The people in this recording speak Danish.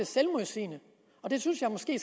selvmodsigende og det synes jeg måske